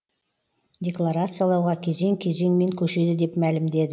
декларациялауға кезең кезеңмен көшеді деп мәлімдеді